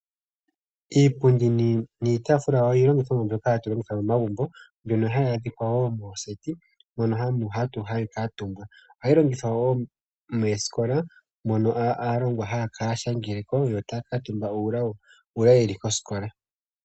Iipundi nitaafula oyo iilongitha mbyoka hatu longitha momagumbo ,mbyoka hayi athikwa wo mooseti mono hayi kaatumbwa. Ohayi longithwa wo mooskola mono aalongwa haya shangeleko yo takaatumba uuna yeli koskola.